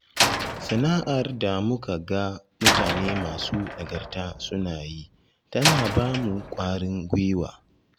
Sana'ar da muka ga mutane masu nagarta suna yi tana ba mu ƙwarin gwiwa.